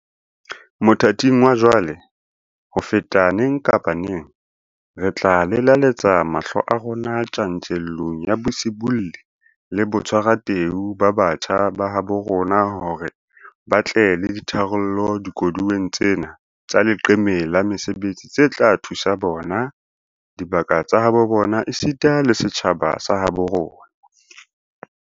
Mothating wa jwale, ho feta neng kapa neng, re tla lelaletsa mahlo a rona tjantjellong ya bosibolli le botshwarateu ba batjha ba habo rona hore ba tle le ditharollo dikoduweng tsena tsa leqeme la mesebetsi tse tla thusa bona, dibaka tsa habo bona esita le setjhaba sa habo bona.